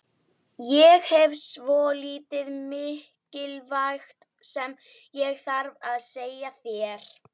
Ég hef svolítið mikilvægt sem ég þarf að segja þér.